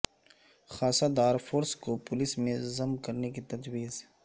خاصہ دار فورس کو پولیس میں ضم کرنے کی تجویز